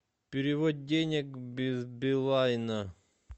перевод денег без билайна